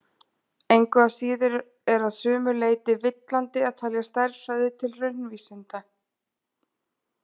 Engu að síður er að sumu leyti villandi að telja stærðfræði til raunvísinda.